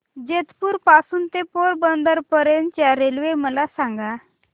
जेतपुर पासून ते पोरबंदर पर्यंत च्या रेल्वे मला सांगा